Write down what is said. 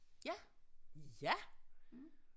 Ja ja